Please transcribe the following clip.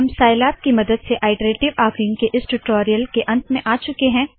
हम साइलैब की मदद से आइटरेशन के इस टूटोरीयल के अंत में आ चुके है